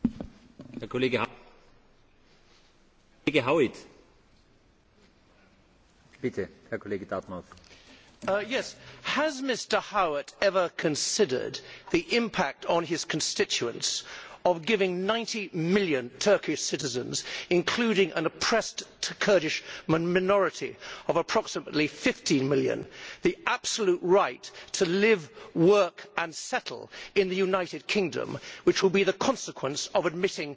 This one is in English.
Mr President, has Mr Howitt ever considered the impact on his constituents of giving 90 million Turkish citizens, including an oppressed Kurdish minority of approximately 15 million, the absolute right to live, work and settle in the United Kingdom, which will be the consequence of admitting Turkey as a member of the European Union?